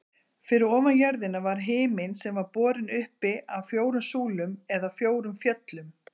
Fyrir ofan jörðina var himinn sem var borinn uppi af fjórum súlum eða fjórum fjöllum.